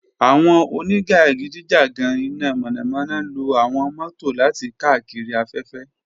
Awọn onijakidijagan ina mọnamọna lo awọn mọto lati kaakiri afẹfẹ.